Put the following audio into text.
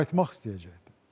Qayıtmaq istəyəcəkdir.